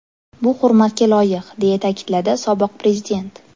Bu hurmatga loyiq”, deya ta’kidladi sobiq prezident.